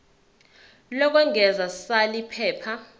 lokwengeza sal iphepha